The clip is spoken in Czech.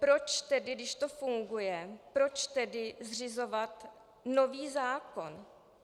Proč tedy, když to funguje, proč tedy zřizovat nový zákon?